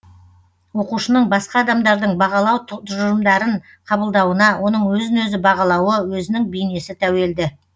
оқушының басқа адамдардың бағалау тұжырымдарын қабылдауына оның өзін өзі бағалауы өзінің бейнесі тәуелді